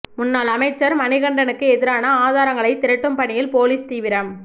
முன்னாள் அமைச்சர் மணிகண்டனுக்கு எதிரான ஆதாரங்களை திரட்டும் பணியில் போலீஸ் தீவிரம்